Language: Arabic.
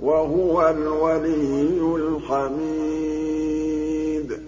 وَهُوَ الْوَلِيُّ الْحَمِيدُ